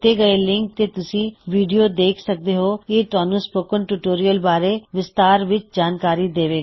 ਦਿੱਤੇ ਹੋਏ ਲਿੰਕ ਤੇ ਤੁਸੀ ਵੀਡਿਓ ਦੇਖ ਸਕਦੇ ਹੋ ਇਹ ਤੁਹਾਨੂੰ ਸਪੋਕਨ ਟਿਊਟੋਰਿਯਲ ਬਾਰੇ ਵਿਸਤਾਰ ਵਿੱਚ ਜਾਣਕਾਰੀ ਦੇਵੇਗਾ